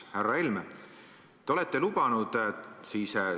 Härra Helme!